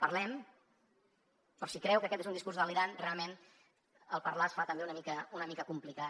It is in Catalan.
parlem però si creu que aquest és un discurs delirant realment parlar es fa també una mica complicat